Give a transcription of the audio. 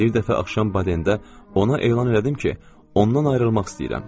Bir dəfə axşam Badendə ona elan elədim ki, ondan ayrılmaq istəyirəm.